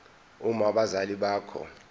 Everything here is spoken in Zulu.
uma abazali bakho